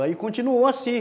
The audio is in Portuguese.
Aí continuou assim.